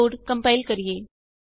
ਆਉ code compile ਕਰੀਏ